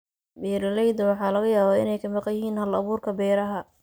Beeralayda waxaa laga yaabaa inay ka maqan yihiin hal-abuurka beeraha.